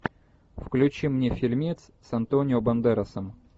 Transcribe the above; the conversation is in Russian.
включи мне фильмец с антонио бандерасом